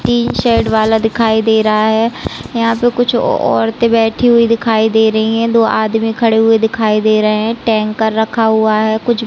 तीन सेड वाला दिखाई दे रहा है यहाँ पे कुछ औरते बैठी हुई दिखाई दे रही हैं दो आदमी खड़े हुए दिखाई दे रहे है टैंकर रखा हुआ है कुछ--